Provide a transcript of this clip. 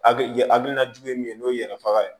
Hakili ye hakilina jugu ye min ye n'o ye yɛrɛ faga ye